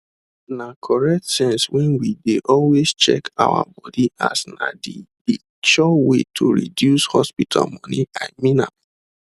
na correct sense when we de always check our body as na de de sure way to reduce hospital moneyi mean am